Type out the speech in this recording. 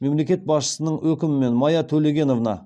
мемлекет басшысының өкімімен майя төлегеновна